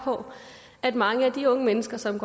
på at mange af de unge mennesker som